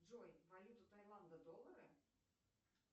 джой валюта тайланда доллары